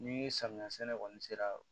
Ni samiya sɛnɛ kɔni sera